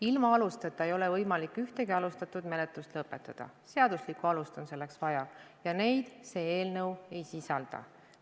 Ilma aluseta ei ole võimalik ühtegi menetlust lõpetada, selleks on vaja seaduslikku alust ja neid see eelnõu ei sisalda.